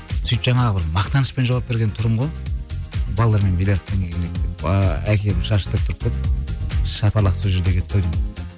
сөйтіп жаңағы бір мақтанышпен жауап берген түрім ғой балалармен биллиард ааа әкемнің шашы тік тұрып кетті шапалақ сол жерде кетті ау деймін